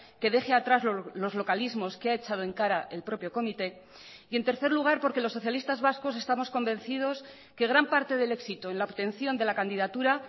que deje atrás los localismos que ha echado en cara el propio comité y en tercer lugar porque los socialistas vascos estamos convencidos que gran parte del éxito en la obtención de la candidatura